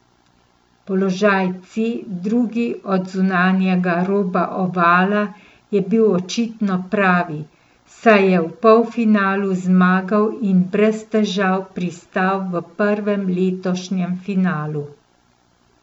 Položaj C, drugi od zunanjega roba ovala, je bil očitno pravi, saj je v polfinalu zmagal in brez težav pristal v prvem letošnjem finalu.